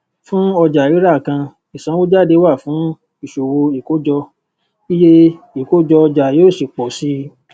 fún ọjàrírà kan ìsanwójáde wà fún ìṣòwò ìkójọ iye ìkójọọjà yóò sì pò sí i